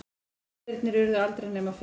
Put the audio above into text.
Fundirnir urðu aldrei nema fimm.